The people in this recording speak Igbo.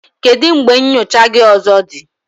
Kedu mgbe nyocha gị ọzọ dị?